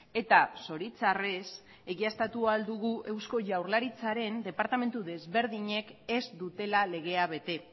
eta zoritxarrez egiaztatu ahal dugu eusko jaurlaritzaren departamentu desberdinek ez dutela legea bete